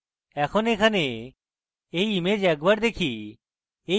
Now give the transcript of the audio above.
এখন এখানে এই image একবার দেখি